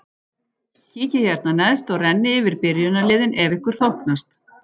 Kíkið hérna neðst og rennið yfir byrjunarliðin ef ykkur þóknast.